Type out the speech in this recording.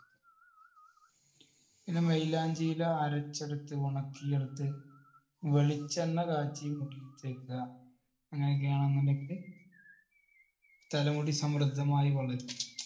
പിന്നെ മൈലാഞ്ചി ഇല അരച്ചെടുത്ത് ഉണക്കിയെടുത്ത് വെളിച്ചെണ്ണ കാച്ചി മുടിയിൽ തേയ്ക്കുക. അങ്ങനെയൊക്കെ ആണെന്നുണ്ടെങ്കില് തലമുടി സമൃദ്ധമായി വളരും.